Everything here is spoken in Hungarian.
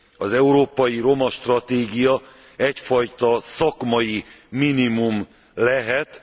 Az európai roma stratégia egyfajta szakmai minimum lehet.